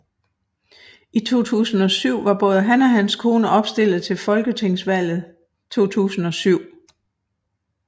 I 2007 var både han og hans kone opstilled til Folketingsvalget 2007